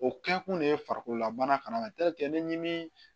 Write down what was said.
O kɛkun de ye farikololabana fana ne ɲini